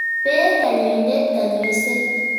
Pee kanyoindet kanyoiset.